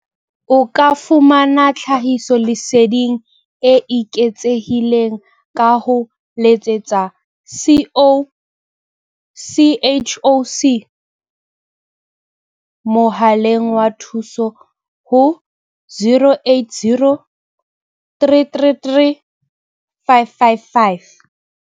O ka fumana tlhahiso leseding e eketsehileng ka ho letsetsa CHOC mohaleng wa thuso ho 0800 333 555.